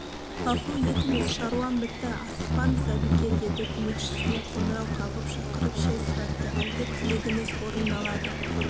ғафу етіңіз шаруам бітті асықпаңыз әбеке деді көмекшісіне қоңырау қағып шақырып шай сұратты әлгі тілегіңіз орындалады